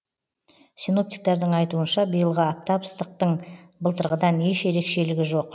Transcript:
синоптиктардың айтуынша биылғы аптап ыстықтың былтырғыдан еш ерекшелігі жоқ